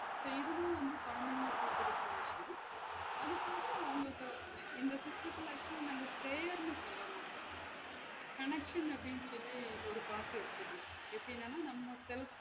So இது தான் வந்து கொழந்தைங்களுக்கு குடுக்குற விஷயம் அது போக அவங்கள்ட்ட எங்க fifth குள்ள actual ஆ prayer ன்னு சொல்ல மாட்டோம் connection அப்டின்னு சொல்லி ஒரு part இருக்கு இதுல எப்டினன்னா நம்ம self